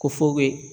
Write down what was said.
Ko fuko